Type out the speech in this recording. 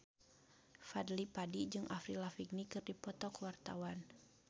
Fadly Padi jeung Avril Lavigne keur dipoto ku wartawan